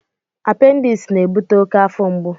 Appendis na-ebute oke afọ mgbu.